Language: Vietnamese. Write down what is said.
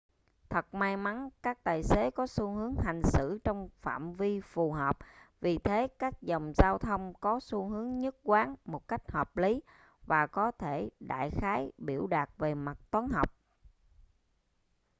thật may mắn các tài xế có xu hướng hành xử trong phạm vi phù hợp vì thế các dòng giao thông có xu hướng nhất quán một cách hợp lý và có thể đại khái biểu đạt về mặt toán học